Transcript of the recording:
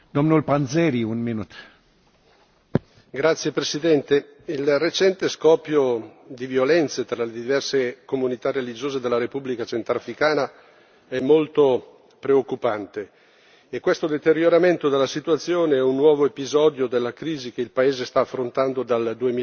Signor Presidente, onorevoli colleghi, il recente scoppio di violenze tra le diverse comunità religiose della Repubblica centrafricana è molto preoccupante e questo deterioramento della situazione è un nuovo episodio della crisi che il paese sta affrontando dal